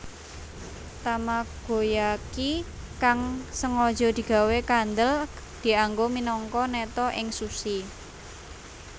Tamagoyaki kang sengaja digawé kandhel dianggo minangka neta ing sushi